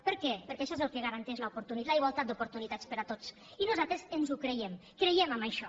per què perquè això és el que garanteix la igualtat d’oportunitats per a tots i nosaltres ens ho creiem creiem en això